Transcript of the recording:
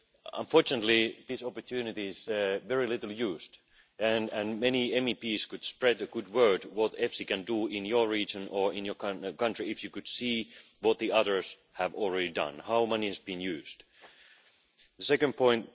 Unfortunately this opportunity is not taken up very often and many MEPs could spread the good word about what EFSI can do in your region or in your country if you could see what the others have already done, how money is being used. The second point.